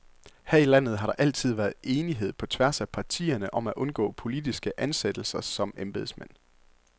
Her i landet har der altid været enighed, på tværs af partierne, om at undgå politiske ansættelser som embedsmænd.